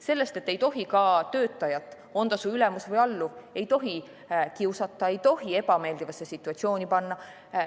Sellest, et ei tohi töötajat – on ta su ülemus või alluv – kiusata, ei tohi ebameeldivasse situatsiooni panna.